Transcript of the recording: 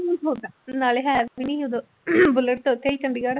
ਨਾਲੇ ਹੈ ਵੀ ਨੀ ਉਦੋਂ ਬੁਲਟ ਉੱਥੇ ਸੀ ਚੰਡੀਗੜ੍ਹ।